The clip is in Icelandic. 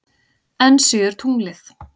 Enn síður tunglið.